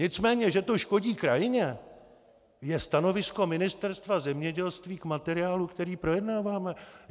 Nicméně že to škodí krajině, je stanovisko Ministerstva zemědělství k materiálu, který projednáváme.